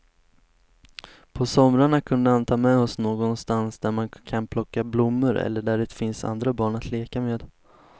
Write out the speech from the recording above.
På somrarna kunde han ta med oss någonstans där man kan plocka blommor eller där det finns andra barn att leka med.